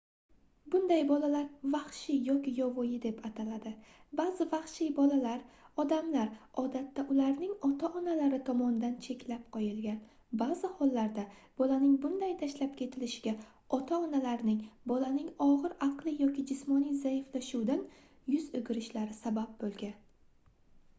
buday bolalar vahshiy yoki yovvoyi deb ataladi. ba'zi vahshiy bolalar odamlar odatda ularning ota-onalari tomonidan cheklab qo'yilgan; ba'zi hollarda bolaning bunday tashlab ketilishiga ota-onalarning bolaning og'ir aqliy yoki jismoniy zaiflashuvidan yuz o'girishlari sabab bo'lgan